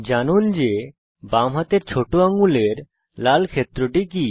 জানুন যে বামহাতের ছোট আঙ্গুলের লাল ক্ষেত্রটি কি